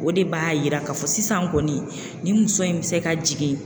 O de b'a yira ka fɔ sisan kɔni nin muso in bɛ se ka jigin